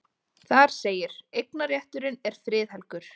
Þar segir: Eignarrétturinn er friðhelgur.